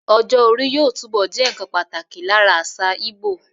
Ọjọ́ orí yóò túbọ̀ jẹ́ nnkan pàtàkì lára àṣà Ìgbò